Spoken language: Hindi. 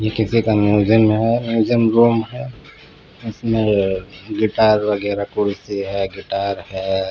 ये किसी का म्युसियम में है म्युसियम रूम है इसमें अ गिटार वगैरा खुर्ची है गिटार है.